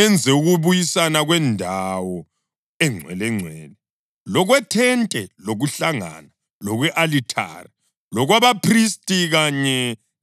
enze ukubuyisana kwendawo eNgcwelengcwele, lokwethente lokuhlangana lokwe-alithari, lokwabaphristi kanye